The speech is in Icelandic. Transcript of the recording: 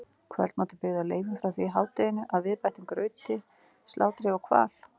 Kvöldmatur byggði á leifum frá því í hádeginu að viðbættum grautum, slátri og hval.